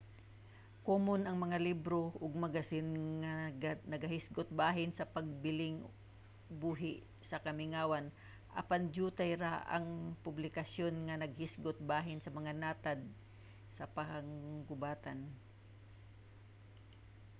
komon ang mga libro ug magasin nga nagahisgot bahin sa pagpabiling buhi sa kamingawan apan dyutay ra ang mga publikasyon nga nagahisgot bahin sa mga natad sa panggubatan